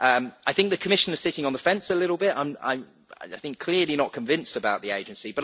I think that the Commissioner is sitting on the fence a little bit, clearly not convinced about the agency